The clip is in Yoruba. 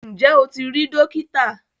Ǹjẹ́ o ti rí Dókítà?